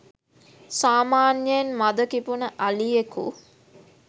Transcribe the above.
සාමාන්‍යයෙන් මද කිපුන අලියකු